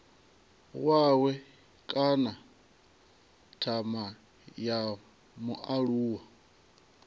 wawe kana thama ya mualuwa